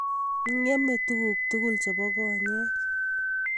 Ng'mei tuguk tugul chepo konyek